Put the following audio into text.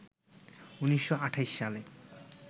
১৯২৮ সালে